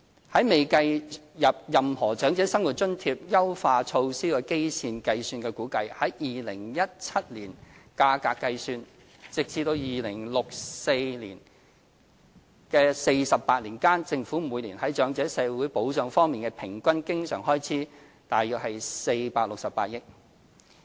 在未計入任何長者生活津貼優化措施的基線情況下估算，以2017年價格計算，直至2064年的48年間，政府每年在長者社會保障方面的平均經常開支約為468億元。